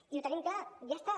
i ho tenim clar ja està